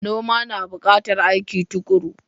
Noma na bukatar aiki tukuru.